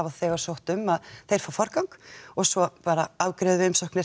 þegar sótt um þeir fá forgang og svo bara afgreiðum við umsóknir